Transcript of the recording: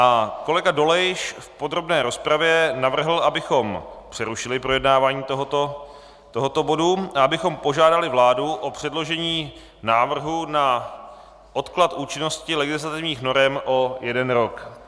A kolega Dolejš v podrobné rozpravě navrhl, abychom přerušili projednávání tohoto bodu a abychom požádali vládu o předložení návrhu na odklad účinnosti legislativních norem o jeden rok.